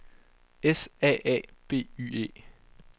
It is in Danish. S A A B Y E